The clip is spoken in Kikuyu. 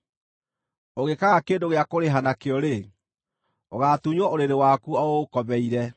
ũngĩkaaga kĩndũ gĩa kũrĩha nakĩo-rĩ, ũgaatunywo ũrĩrĩ waku o ũũkomeire.